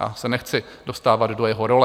Já se nechci dostávat do jeho role.